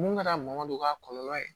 Mun kɛra ma don k'a kɔlɔlɔ ye